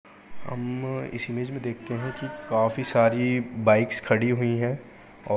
हम्म इस इमेज मे देखतें हैं कि काफी सारी बाइक्स खड़ी हुई हैं औ--